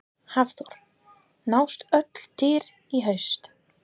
Hafþór: Nást öll dýr í haust?